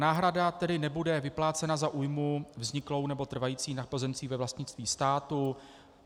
Náhrada tedy nebude vyplácena za újmu vzniklou nebo trvající na pozemcích ve vlastnictví státu.